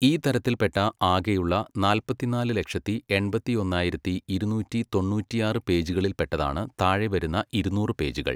"ഈ തരത്തിൽപ്പെട്ട ആകെയുള്ള നാല്പത്തിനാല് ലക്ഷത്തി, എൺപത്തിയൊന്നായിരത്തി, ഇരുന്നൂറ്റി തൊണ്ണൂറ്റിയാറ് പേജുകളിൽപ്പെട്ടതാണ് താഴെവരുന്ന ഇരുന്നൂറ് പേജുകൾ."